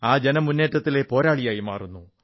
ആ ജനമുേറ്റത്തിലെ പോരാളിയായി മാറുന്നു